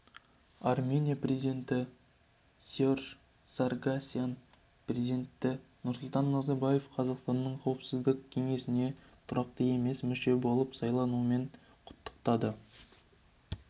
армения президенті серж саргсян президенті нұрсұлтан назарбаевты қазақстанның қауіпсіздік кеңесіне тұрақты емес мүше болып сайлануымен құттықтады